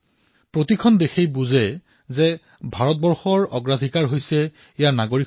প্ৰতিখন দেশে জানে যে এই মুহূৰ্তত ভাৰতৰ বাবেও তেওঁলোকৰ প্ৰাথমিকতা নিজৰ দেশৰ নাগৰিকসকল